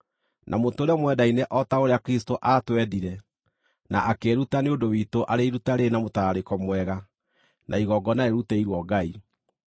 na mũtũũre mwendaine o ta ũrĩa Kristũ aatwendire na akĩĩruta nĩ ũndũ witũ arĩ iruta rĩrĩ na mũtararĩko mwega na igongona rĩrutĩirwo Ngai.